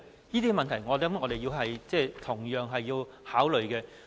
這些問題，我們同樣需要考慮。